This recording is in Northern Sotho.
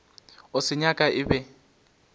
a se nyaka e be